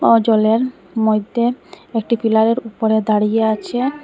ও জলের মধ্যে একটি পিলারের উপরে দাঁড়িয়ে আছে।